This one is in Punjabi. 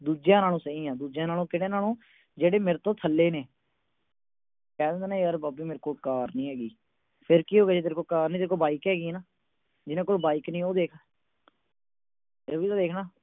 ਦੂਜਿਆਂ ਨਾਲੋਂ ਸਹੀ ਆ। ਦੂਜੇ ਕਿਹੜੇ ਜਿਹੜੇ ਮੇਰੇ ਨਾਲੋਂ ਥੱਲੇ ਨੇ। ਕਹਿ ਦਿੰਦੇ ਨੇ ਮੇਰੇ ਕੋਲ ਕਾਰ ਨੀ ਹੈਗੀ। ਫਿਰ ਕੀ ਹੋ ਗਿਆ ਤੇਰੇ ਕੋਲ ਕਾਰ ਨੀ ਹੈਗੀ, ਤੇਰੇ ਕੋਲ ਬਾਈਕ ਹੈਗੀ ਆ ਨਾ, ਜਿਹਨਾਂ ਕੋਲ ਬਾਈਕ ਵੀ ਨੀ ਹੈਗੀ, ਉਹ ਦੇਖ। ਇਹ ਵੀ ਤਾਂ ਦੇਖ ਨਾ।